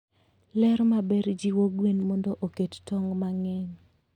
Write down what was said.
Ler maber jiwo gwen mondo oket tong' mang'eny.